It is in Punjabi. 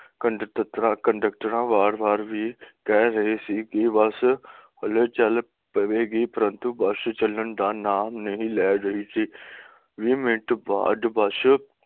ਕੰਡਕਟਰਾਂ ਕੰਡਕਟਰਾਂ ਵਾਰ ਵਾਰ ਵੀ ਕਹਿ ਰਹੀ ਸੀ ਕਿ ਬੱਸ ਹੁਣੇ ਚੱਲ ਪਵੇਗੀ ਪਰੰਤੂ ਬੱਸ ਚਲਣ ਦਾ ਨਾਮ ਨਹੀਂ ਲੈ ਰਹੀ ਸੀ twenty ਮਿੰਟ ਬਾਅਦ ਬੱਸ